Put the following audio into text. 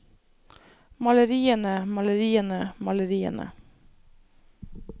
maleriene maleriene maleriene